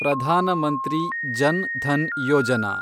Pradhan Mantri Jan Dhan Yojana